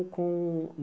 Com